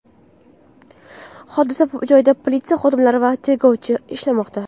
Hodisa joyida politsiya xodimlari va tergovchilar ishlamoqda.